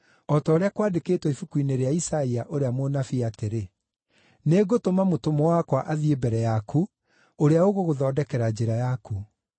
O ta ũrĩa kwandĩkĩtwo ibuku-inĩ rĩa Isaia ũrĩa mũnabii atĩrĩ: “Nĩngũtũma mũtũmwo wakwa athiĩ mbere yaku, ũrĩa ũgũgũthondekera njĩra yaku.”